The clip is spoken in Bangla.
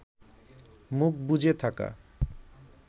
মুখ বুজে থাকা